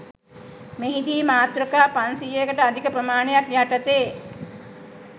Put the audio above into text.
මෙහිදී මාතෘකා පන්සියයකට අධික ප්‍රමාණයක් යටතේ